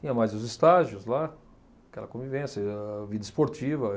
Tinha mais os estágios lá, aquela convivência, e a vida esportiva.